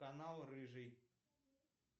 канал рыжий